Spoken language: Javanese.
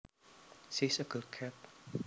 She is a girl cat